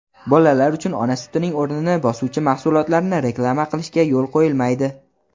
bolalar uchun ona sutining o‘rnini bosuvchi mahsulotlarni reklama qilishga yo‘l qo‘yilmaydi.